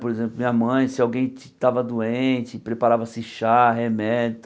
Por exemplo, minha mãe, se alguém estava doente, preparava-se chá, remédio.